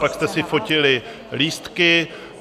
Pak jste si fotili lístky.